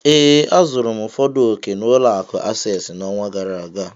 Ee, azụrụ m ụfọdụ ọ̀kè na ụlọ akụ asesịị n'ọnwa gara aga.